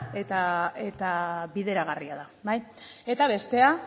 eta bideragarria da eta bestea